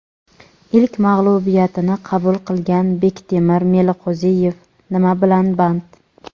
Ilk mag‘lubiyatini qabul qilgan Bektemir Meliqo‘ziyev nima bilan band?.